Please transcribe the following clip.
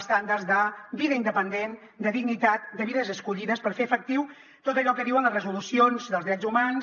estàndards de vida independent de dignitat de vides escollides per fer efectiu tot allò que diuen les resolucions dels drets humans